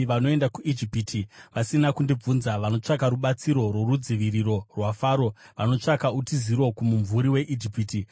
vanoenda kuIjipiti vasina kundibvunza; vanotsvaka rubatsiro rworudziviriro rwaFaro, vanotsvaka utiziro kumumvuri weIjipiti.